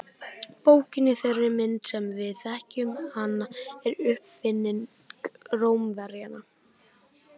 bókin í þeirri mynd sem við þekkjum hana er uppfinning rómverjanna